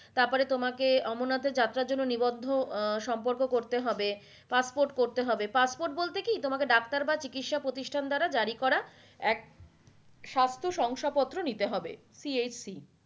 তার পরে তোমাকে অমরনাথের যাত্ৰার জন্য নিবর্ধ আহ সম্পর্ক করতে হবে passport করতে হবে passport বলতে কি তোমাকে ডাক্তার বা চিকৎসক পতিষ্ঠান দ্বারা জারি করা এক শাস্তসংসদ পত্র নিতে হবে CHC